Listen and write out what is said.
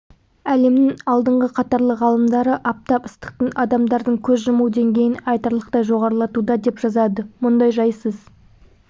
әлемнің алдыңғы қатарлы ғалымдары аптап ыстықтың адамдардың көз жұму деңгейін айтарлықтай жоғарлатуда деп жазады мұндай жайсыз